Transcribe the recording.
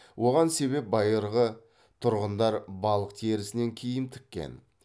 оған себеп байырғы тұрғындар балық терісінен киім тіккен